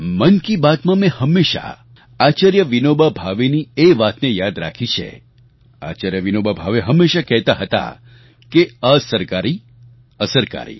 મન કી બાતમાં મેં હંમેશા આચાર્ય વિનોબા ભાવેની એ વાતને યાદ રાખી છે આચાર્ય વિનોબા ભાવે હંમેશા કહેતા હતા કે અસરકારી અસરકારી